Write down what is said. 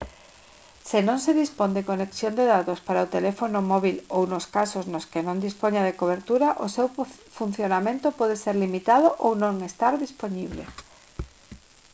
se non se dispón de conexión de datos para o teléfono móbil ou nos casos nos que non dispoña de cobertura o seu funcionamento pode ser limitado ou non estar dispoñible